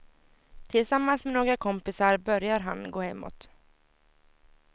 Tillsammans med några kompisar börjar han gå hemåt.